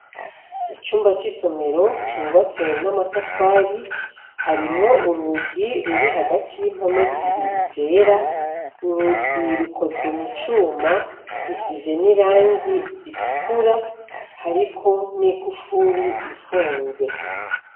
Icumba cisomero cubatse amatafari hari rero urugi ruri hagati yimpome zibiri zera urugi rukoze mucuma rusize irangi ritukura hariko nigufuri ifunze